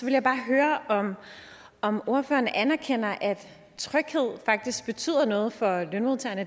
jeg bare høre om ordføreren anerkender at tryghed faktisk betyder noget for lønmodtagerne